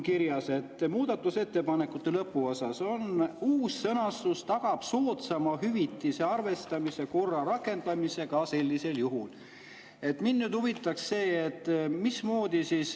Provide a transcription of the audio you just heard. Muudatusettepanekute lõpuosas on kirjas: "Uus sõnastus tagab soodsama hüvitise arvestamise korra rakendamise ka sellisel juhul.